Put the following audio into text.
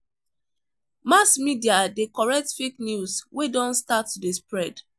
Mass media de correct fake news wey don start to de spread